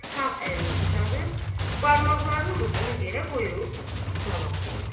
Sağ əlini uzadıb, barmaqlarının ucunu yerə qoyub, cavab verdi.